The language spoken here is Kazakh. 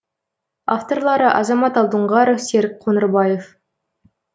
авторлары азамат алдоңғаров серік қоңырбаев